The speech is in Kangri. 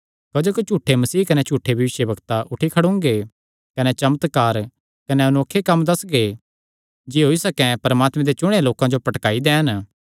क्जोकि झूठे मसीह कने झूठे भविष्यवक्ता उठी खड़ोंगे कने चमत्कार कने अनोखे कम्म दस्सगे जे होई सकैं परमात्मे दे चुणेयां लोकां जो भी भटकाई दैन